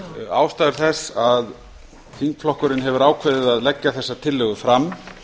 ástæður þess að þingflokkurinn hefur ákveðið að leggja þessa tillögu fram